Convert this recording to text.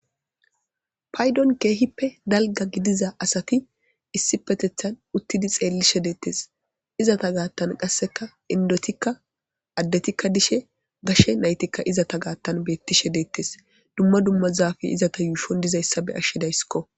Paydon keehippe dalga gidiza asati issi petethan uttidi xeellishe deettes izata gaattan qasseka indotikka addetikka dishe gashe naytikka izata gaattan beettishe deettes dumma dumma zaafi izata yuushon dizayssa be ashshidayskko